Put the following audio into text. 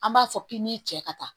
An b'a fɔ k'i n'i cɛ ka taa